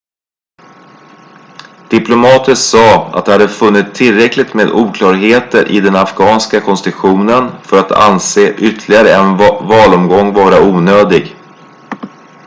diplomater sa att de hade funnit tillräckligt med oklarheter i den afghanska konstitutionen för att anse ytterligare en valomgång vara onödig